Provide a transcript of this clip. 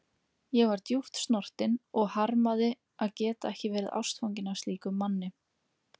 Ég var djúpt snortin og harmaði að geta ekki verið ástfangin af slíkum manni.